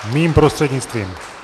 Mým prostřednictvím.